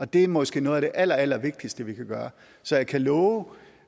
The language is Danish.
det er måske noget af det allerallervigtigste vi kan gøre så jeg kan love